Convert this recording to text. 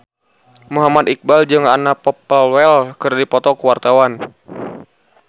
Muhammad Iqbal jeung Anna Popplewell keur dipoto ku wartawan